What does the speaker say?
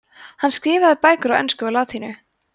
hann skrifaði bæði á ensku og latínu